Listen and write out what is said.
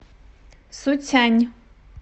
суцянь